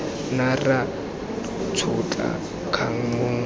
ne ra tšhotla kgang mong